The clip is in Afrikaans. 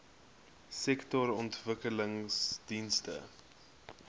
sektorontwikkelingdienste